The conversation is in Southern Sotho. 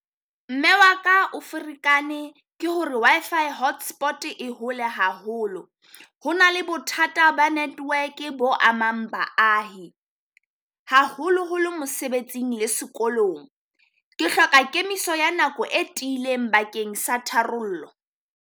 Mme wa ka o ferekane ke hore Wi-Fi hotspot e hole haholo, ho na le bothata ba network bo among Baahi haholoholo mosebetsing le sekolong. Ke hloka kemiso ya nako e tiileng bakeng sa tharollo.